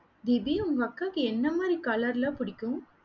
தீபி, உங்க அக்காக்கு என்ன மாதிரி colour லா பிடிக்கும்?